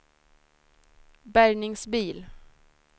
bärgningsbil